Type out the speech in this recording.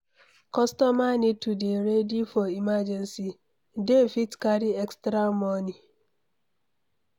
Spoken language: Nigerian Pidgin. Customer need to dey ready for emergency, dem fit carry extra money